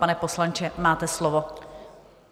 Pane poslanče, máte slovo.